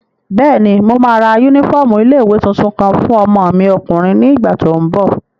Bẹ́ẹ̀ni, mo máa ra yúnífọ́ọ̀mù ilé-ìwé tuntun kan fún ọmọ mi ọkùnrin ní ìgbà tó n bọ̀